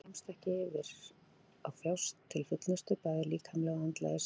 Maðurinn kemst ekki yfir að þjást til fullnustu bæði líkamlega og andlega í senn.